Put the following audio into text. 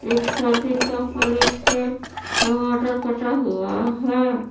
एक सालटीन के पलेट पे टमाटर कटा हुआ है।